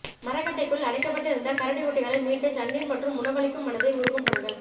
மரக்கட்டைக்குள் அடைக்கப்பட்டு இருந்த கரடி குட்டிகளை மீட்டு தண்ணீர் மற்றும் உணவளிக்கும் மனதை உருக்கும் படங்கள்